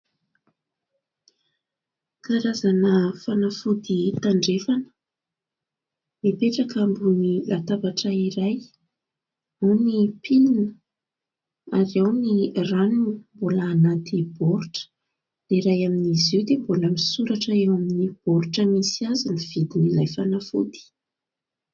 Karazana fanafody tandrefana mipetraka ambony latabatra iray : ao ny pilina ary ao ny rano mbola anaty baoritra dia iray amin'izy io mbola misoratra eo amin'ny baoritra misy azy ny vidin' ilay fanafody.